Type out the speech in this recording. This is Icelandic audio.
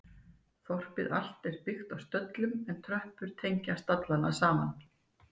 Þorpið allt er byggt á stöllum en tröppur tengja stallana saman.